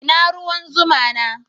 Ina ruwan zuma na?